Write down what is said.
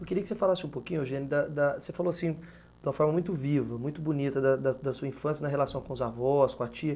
Eu queria que você falasse um pouquinho, Eugênia, da da você falou assim, de uma forma muito viva, muito bonita, da da da sua infância na relação com os avós, com a tia.